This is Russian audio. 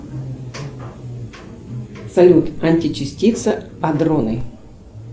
салют античастица адроны